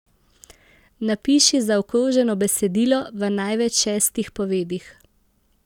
Napiši zaokroženo besedilo v največ šestih povedih.